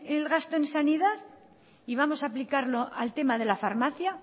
el gasto en sanidad y vamos a aplicarlo al tema de la farmacia